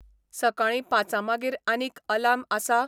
सकाळीं पांचांमागीर आनीक आलार्म आसा?